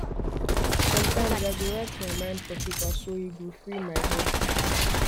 sometimes i go write my mind for paper so e go free my head